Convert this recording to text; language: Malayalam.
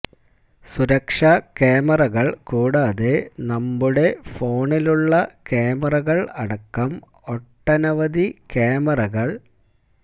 സുരക്ഷാ ക്യാമറകള് കൂടാതെ നമ്മുടെ ഫോണിലുളള ക്യാമറകള് അടക്കം ഒട്ടനവധി ക്യാമറക